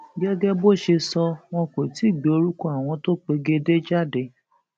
gẹgẹ bó ṣe sọ wọn kó tì í gbé orúkọ àwọn tó pegedé jáde